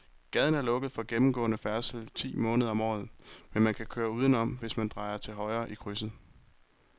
Gaden er lukket for gennemgående færdsel ti måneder om året, men man kan køre udenom, hvis man drejer til højre i krydset.